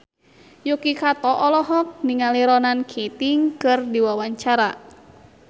Yuki Kato olohok ningali Ronan Keating keur diwawancara